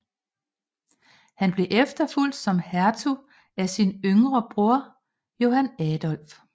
Han blev efterfulgt som hertug af sin yngre broder Johan Adolf